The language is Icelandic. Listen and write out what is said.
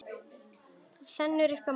Þenur þau á móti honum.